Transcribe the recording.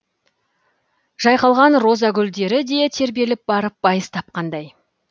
жайқалған роза гүлдері де тербеліп барып байыз тапқандай